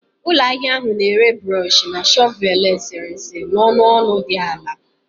Ụlọ ahịa ahụ na-ere brush na shọvel eserese n'ọnụ ọnụ dị ala